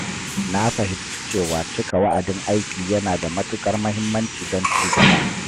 Na fahimci cewa cika wa’adin aiki yana da matuƙar muhimmanci don ci gaba.